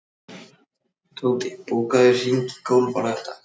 Tóti, bókaðu hring í golf á laugardaginn.